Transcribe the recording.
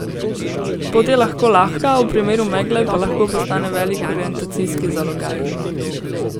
Pot je lahka, v primeru megle pa lahko postane velik orientacijski zalogaj.